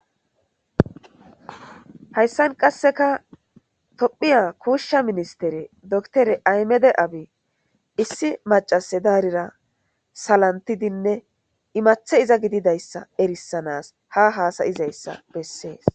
Hayisan qasika tophiya kosha minstere dokteriya ahimede abbyi issi maca'se diyarira salamitidinne imate iza gididayisa erisanas ha hasidage erises